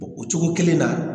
O cogo kelen na